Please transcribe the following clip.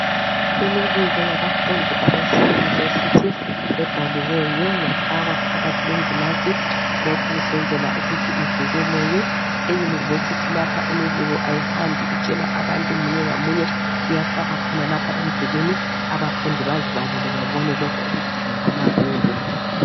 Imibiko yabafundi abaseyunivesithi ebhaliweyo yafakwa phakathi kwengilazi, lokhu kusenzela ukuthi ivekeleke. Eyunivesithi lapha imibiko ayihambi itshelwa abantu munye ngamunye. Uyafakwa khonalapha emdulini abafundi bazibalele babone lokhu okudingakala kubo.